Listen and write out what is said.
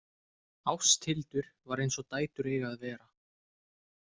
Ásthildur var eins og dætur eiga að vera.